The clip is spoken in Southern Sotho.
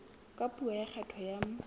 ka puo ya kgetho ya